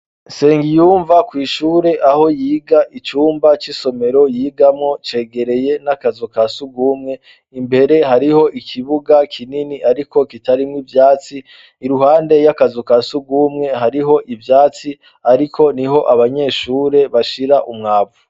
sengiyumva kw' ishure aho yiga icumba c'isomero yigamwo cegekeye n'akazu kasugumwe imbere hariho ikibuga kinini ariko kitarimo ivyatsi iruhande y'akazu kasugumwe hariho ivyatsi ariko niho abanyeshure bashira umwavu